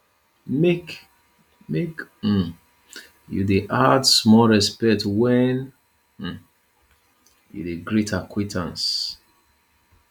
make make um you dey add small respect wen um you dey greet acquaintance